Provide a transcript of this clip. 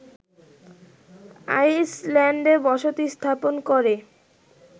আইসল্যান্ডে বসতি স্থাপন করে